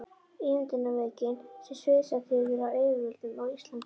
Ímyndunarveikinni, sem sviðsett hefur verið af yfirvöldum á Íslandi í